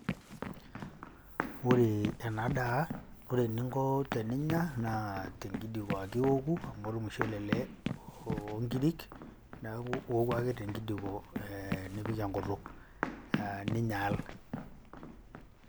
Ore ena daa ore eninko teninya naa tenkidiko ake iwoku amu ormushele ele oo nkirik, neeku iwoku ake tenkidiko nipik enkutuk aa ninyaal.